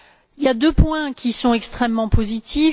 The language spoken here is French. Il y a deux points qui sont extrêmement positifs.